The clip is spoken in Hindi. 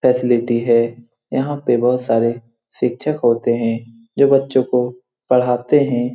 फैसिलिटी है यहाँ पे बहुत सारे शिक्षक होते हैं जो बच्चों को पढ़ाते हैं।